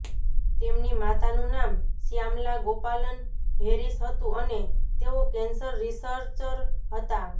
તેમની માતાનું નામ શ્યામલા ગોપાલન હેરિસ હતું અને તેઓ કેંસર રિસર્ચર હતાં